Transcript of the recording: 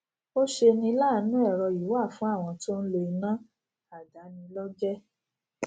ó ṣeni láàánú èrọ yìí wà fún àwọn tó n lo iná aldàáni lójé